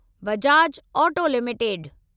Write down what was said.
Bajaj auto limited